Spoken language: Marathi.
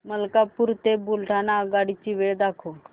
मलकापूर ते बुलढाणा आगगाडी ची वेळ दाखव